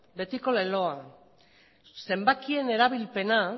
betiko leloa zenbakien erabilpena